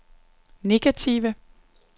negative